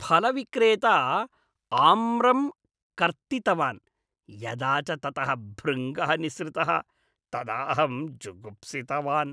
फलविक्रेता आम्रं कर्तितवान्, यदा च ततः भृङ्गः निःसृतः तदा अहं जुगुप्सितवान्।